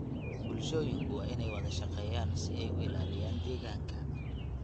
Bulshooyinku waa inay wada shaqeeyaan si ay u ilaaliyaan deegaanka.